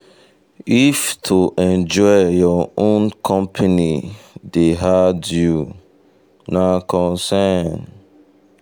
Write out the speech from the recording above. if to enjoy your own company dey hard you na concern.